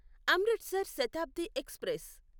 Amritsar Shatabdi express